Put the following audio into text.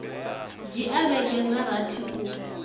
dzhia vhege dza rathi u